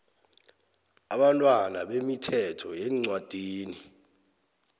abantwana bemithetho yeencwadini